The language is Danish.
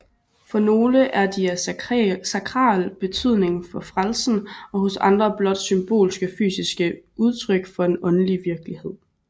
For nogle er de af sakral betydning for frelsen og hos andre blot symbolske fysiske udtryk for en åndelig virkelighed